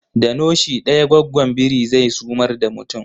Da noshi daya gwaggon biri zai sumar da mutum